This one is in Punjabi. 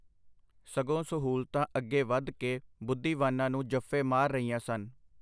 ਸਗੋਂ ਸਹੂਲਤਾਂ ਅੱਗੇ ਵਧ ਕੇ ਬੁਧੀਵਾਨਾਂ ਨੂੰ ਜੱਫੇ ਮਾਰ ਰਹੀਆਂ ਸਨ.